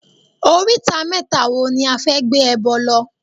Oríta mẹ́ta wo ni a fẹ́ gbé ẹbọ lọ?